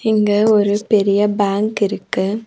இங்க ஒரு பெரிய பேங்க் இருக்கு.